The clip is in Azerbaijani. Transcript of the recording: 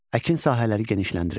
Əkin sahələri genişləndirildi.